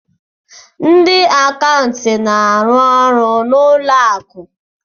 Ndị akaụntantị na-arụ ọrụ na ụlọ akụ